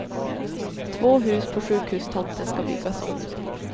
Två hus på sjukhustomten ska byggas om.